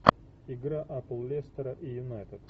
игра апл лестера и юнайтед